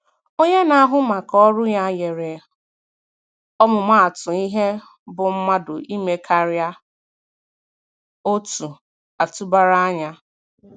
Onye na-ahụ maka ọrụ ya nyere ọmụmatụ ihe bụ mmadụ ime karịa otu atụbara anya.